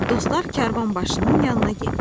Dostlar karvanbaşının yanına getdilər.